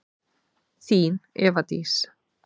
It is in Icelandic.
Þín, Eva Dís.